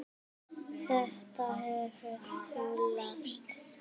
Þetta hefur nú lagast.